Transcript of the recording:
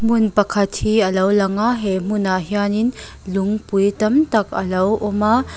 hmun pakhat hi alo langa he hmunah hianin lungpui tam tak alo awm a.